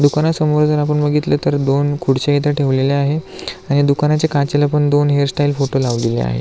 दुकानसमोर जर आपण बघितलं तर दोन खुर्च्या इथे ठेवलेल्या आहेत आणि दुकानाच्या काचेला पण दोन हेयर स्टाइल फोटो लावलेले आहेत.